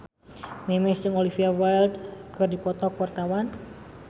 Memes jeung Olivia Wilde keur dipoto ku wartawan